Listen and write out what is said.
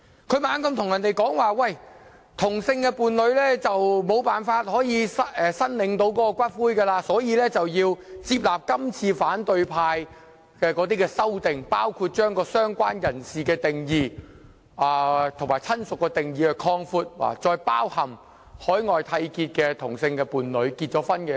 他不斷對大家說同性伴侶無法申領骨灰，所以要接納今次反對派提出的修正案，包括擴闊"相關人士"和"親屬"的定義，使之涵蓋在海外締結婚姻的同性伴侶。